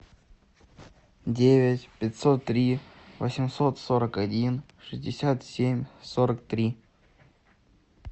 девять пятьсот три восемьсот сорок один шестьдесят семь сорок три